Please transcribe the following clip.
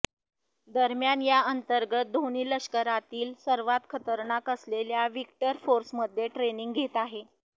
दरम्यान या अंतर्गत धोनी लष्करातील सर्वात खतरनाक असलेल्या विक्टर फोर्समध्ये ट्रेनिंग घेत आहे